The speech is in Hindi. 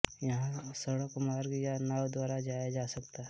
यहाँ सड़क मार्ग या नाव द्वारा जाया जा सकता है